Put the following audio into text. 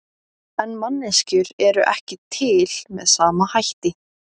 En manneskjur eru ekki til með sama hætti.